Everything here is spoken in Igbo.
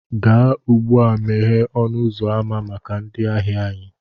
Gaa ugbu a, meghee ọnụ ụzọ ámá maka ndị ahịa anyị